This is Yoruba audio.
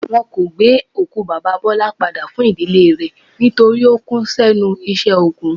Wọn kò gbé òkú Baba Bọlá padà fún ìdílé rẹ̀ nítorí ó kú s'ẹ́nu iṣẹ́ ogun.